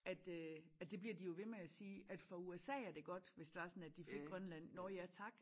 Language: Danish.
At øh at det bliver de jo ved med at sige at for USA er det godt hvis det var sådan at de fik Grønland nå ja tak